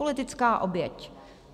Politická oběť.